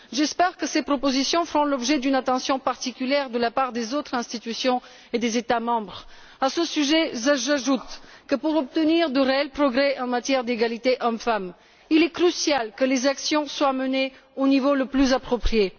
J'espère que ces propositions feront l'objet d'une attention particulière de la part des autres institutions et des États membres. À ce sujet, j'ajoute que, pour obtenir de réels progrès en matière d'égalité entre hommes et femmes, il est crucial que les actions soient menées au niveau le plus approprié.